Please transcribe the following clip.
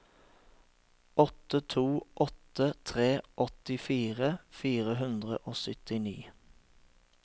åtte to åtte tre åttifire fire hundre og syttini